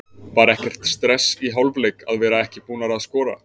Var ekkert stress í hálfleik að vera ekki búnar að skora?